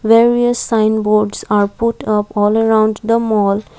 various sign boards are put up all around the mall.